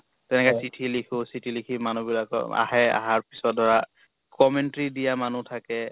তেনেকে চিঠি লিখো, চিঠি লিখি মানুহ বিলাকক আহে। আহাৰ পিছত ধৰা commentry দিয়া মানুহ থাকে